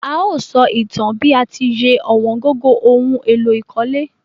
A o só ìtan bi a ti ye ọ̀wóngógó oun éló ìkólé